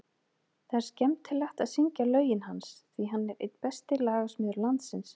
Það er skemmtilegt að syngja lögin hans, því hann er einn besti lagasmiður landsins.